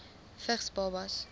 vigs babas